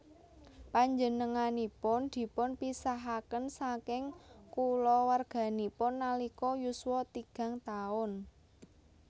Panjenenganipun dipunpisahaken saking kulawarganipun nalika yuswa tigang taun